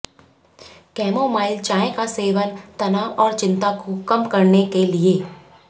chamomile चाय का सेवन तनाव और चिंता को कम करने के लिए